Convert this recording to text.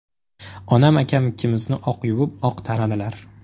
Onam akam ikkimizni oq yuvib, oq taradilar.